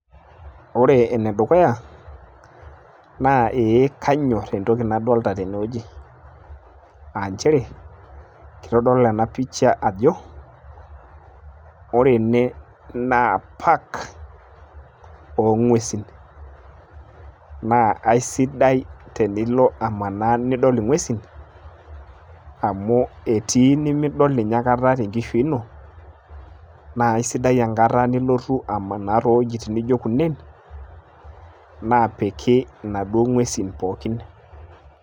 ore ene dukuya naa ee kanyor entoki nadoolta tene wueji, aa nchere, kitodolu ena picha ajo, ore ene naa park oo ng'uesin. naa eisidai tenilo amanaa nidol ing'uesin, amu etii nimidol ninye aikata te nkishui ino, naa eisidai tenilotu amanaa too wuejitin naijo ene naapiki inaduoo ng'uesin pookin.